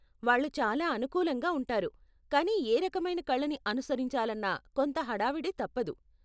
వాళ్ళు చాలా అనుకూలంగా ఉంటారు, కానీ ఏ రకమైన కళని అనుసరించాలన్నా కొంత హడావిడి తప్పదు.